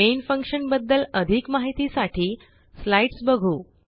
main function बद्दल अधिक माहितीसाठी स्लाईडस बघू